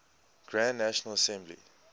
grand national assembly